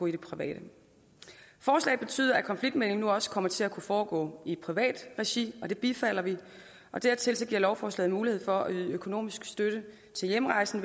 det private forslaget betyder at konfliktmægling nu også kommer til at kunne foregå i privat regi og det bifalder vi dertil giver lovforslaget mulighed for at yde økonomisk støtte til hjemrejsen